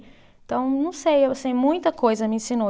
Então, não sei, eu sei muita coisa me ensinou.